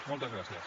moltes gràcies